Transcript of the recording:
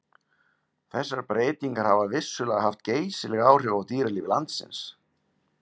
þessar breytingar hafa vissulega haft geysileg áhrif á dýralíf landsins